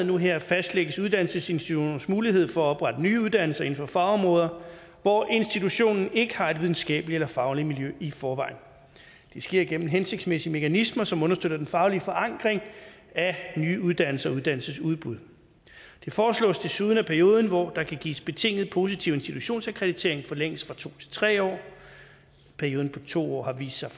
nu her fastlægges uddannelsesinstitutionernes mulighed for at oprette nye uddannelser inden for fagområder hvor institutionen ikke har et videnskabeligt eller fagligt miljø i forvejen det sker gennem hensigtsmæssige mekanismer som understøtter den faglige forankring af nye uddannelser og uddannelsesudbud det foreslås desuden at perioden hvor der kan gives betinget positiv institutionsakkreditering forlænges fra to til tre år perioden på to år har vist sig